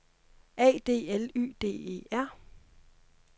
A D L Y D E R